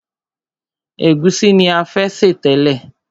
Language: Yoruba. Ègúsí ni a fẹ́ sè tẹ́lẹ̀.